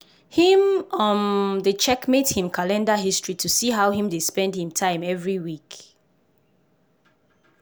him um dey checkmate him calender history to see how him dey spend him time every week.